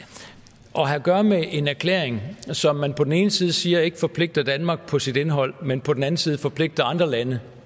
have at gøre med en erklæring som man på den ene side siger ikke forpligter danmark på sit indhold men som på den anden side forpligter andre lande